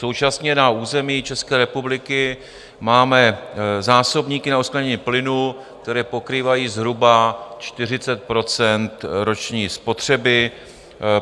Současně na území České republiky máme zásobníky na uskladnění plynu, které pokrývají zhruba 40 % roční spotřeby.